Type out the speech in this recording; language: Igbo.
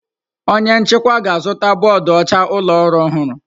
Onye nchịkwa ga-azụta bọọdụ ọcha ụlọ ọrụ ọhụrụ.